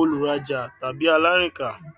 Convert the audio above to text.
olùrajà tàbí alárìnká